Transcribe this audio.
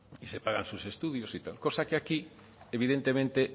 y se pagan sus estudios y tal cosa que aquí evidentemente